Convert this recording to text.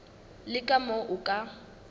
le ka moo o ka